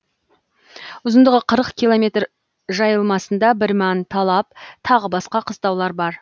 ұзындығы қырық километр жайылмасында бірман талап тағы басқа қыстаулар бар